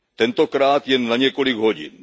Tentokrát jen na několik hodin.